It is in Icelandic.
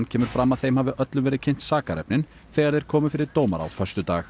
kemur fram að þeim hafi öllum verið kynnt sakarefnin þegar þeir komu fyrir dómara á föstudag